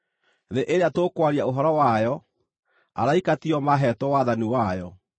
Thĩ ĩrĩa tũkwaria ũhoro wayo, araika tio maaheetwo wathani wayo.